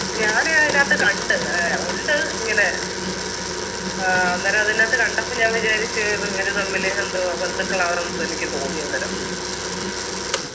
ഞാന് അതിനാത്ത് കണ്ട് ഏർ ഉണ്ട് ഇങ്ങനെ ആഹ് അന്നരൊ അതിനാത്ത് കണ്ടപ്പം ഞാൻ വിചാരിച്ച് ഇത് ഇവര് തമ്മില് എന്തോ ബന്ധുക്കളാന്നപ്പൊ എനിക്ക് തോന്നി അന്നരം